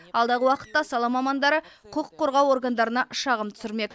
алдағы уақытта сала мамандары құқық қорғау органдарына шағым түсірмек